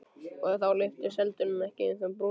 Og þá lyftist heldur en ekki á þeim brúnin.